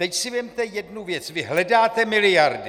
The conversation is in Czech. Teď si vezměte jednu věc - vy hledáte miliardy.